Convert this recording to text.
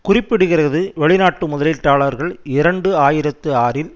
குறிப்பிடுகிறது வெளிநாட்டு முதலீட்டாளர்கள் இரண்டு ஆயிரத்தி ஆறில்